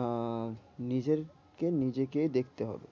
আহ নিজেরকে নিজেকে দেখতে হবে।